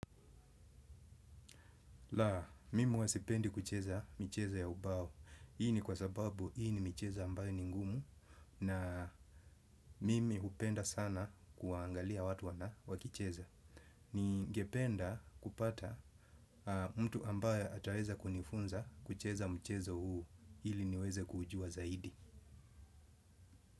La mimi huasipendi kucheza michezo ya ubao. Hii ni kwa sababu hii ni micheza ambayo ni ngumu na mimi hupenda sana kuangalia watu wana wakicheza. Ningependa kupata mtu ambaye ataweza kunifunza kucheza mchezo huu ili niweze kuujua zaidi.